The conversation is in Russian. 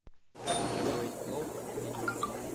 как приготовить плов видео